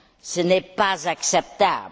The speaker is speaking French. Ce n'est pas acceptable.